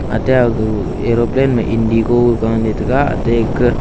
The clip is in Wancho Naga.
ate agu erophane ma indigo ga le tega ate aga.